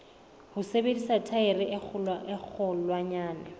ho sebedisa thaere e kgolwanyane